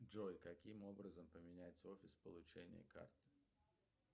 джой каким образом поменять офис получения карт